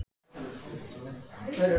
Ingheiður, hækkaðu í græjunum.